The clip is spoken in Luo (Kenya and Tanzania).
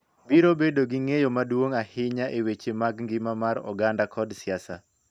Biro bedo gi ng�eyo maduong� ahinya e weche mag ngima mar oganda kod siasa.